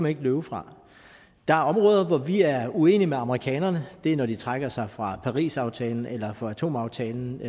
ikke løbe fra der er områder hvor vi er uenige med amerikanerne og det er når de trækker sig fra parisaftalen eller fra atomaftalen